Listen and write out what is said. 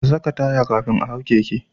A saka taya kafin a hau keke